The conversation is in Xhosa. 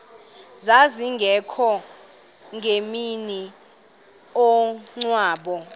zazingekho ngemini yomngcwabo